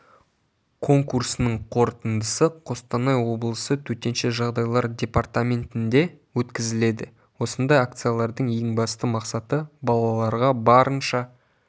конкурсының қорытындысы қостанай облысы төтенше жағдайлар департаментінде өткізіледі осындай акциялардың ең басты мақсаты балаларға барынша